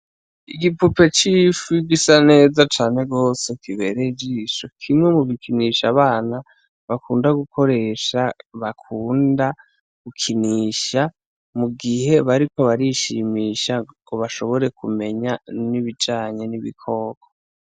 Igipupe c'ifi gisa neya cane gose kibereye ijisho n'ikimwe mubikinisho abana bakunda gukoresha bakunda gukinisha mugihe bariko barishimisha ngo bashobore k'umenya n'ibijanye n'ibikoko.